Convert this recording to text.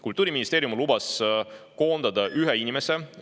Kultuuriministeerium lubas koondada ühe inimese.